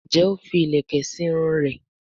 njé o fí ilẹkẹ sí Irun rẹ?